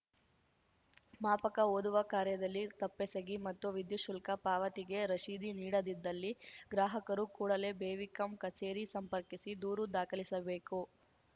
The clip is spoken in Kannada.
ಮಾಪಕ ಓದುವ ಕಾರ್ಯದಲ್ಲಿ ತಪ್ಪೆಸಗಿ ಮತ್ತು ವಿದ್ಯುತ್‌ ಶುಲ್ಕ ಪಾವತಿಗೆ ರಸೀದಿ ನೀಡದಿದ್ದಲ್ಲಿ ಗ್ರಾಹಕರು ಕೂಡಲೇ ಬೆವಿಕಂ ಕಚೇರಿ ಸಂಪರ್ಕಿಸಿ ದೂರು ದಾಖಲಿಸಬೇಕು